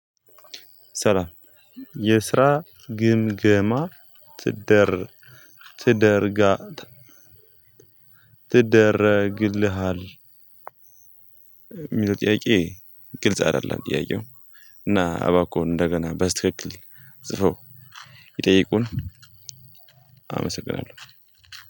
ሰላም የስራ ግምገማ ትደር ትደርጋት ትደረግልሃል የሚለው ጥያቄ ግልጽ አይደለም ጥያቄው እና አባከዎን እንደገና በስተክክል ጽፈው ይጠይቁን አመሰግናለሁ።